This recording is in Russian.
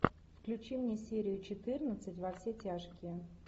включи мне серию четырнадцать во все тяжкие